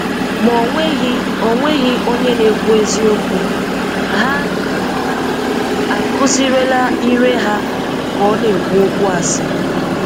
Ma onweghị onweghị onye na-ekwu eziokwu. Ha akụzirela ire ha ka ọ na-ekwu okwu asị.